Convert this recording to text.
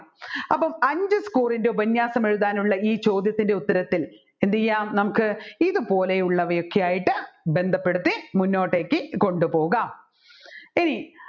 അപ്പോൾ അഞ്ചു score ന്റെ ഉപന്യാസം എഴുതാനുള്ള ഈ ചോദ്യത്തിൻെറ ഉത്തരത്തിൽ എന്ത് ചെയ്യാം നമ്മുക്ക് ഇതുപോലെ ഉള്ളവയൊക്കെയായിട്ട് ബന്ധപ്പെടുത്തി മുന്നോട്ടേക്ക് കൊണ്ടുപോകാം ഇനി